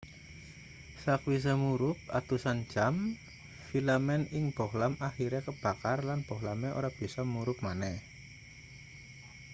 sakwise murup atusan jam filamen ing bohlam akhire kebakar lan bohlame ora bisa murup maneh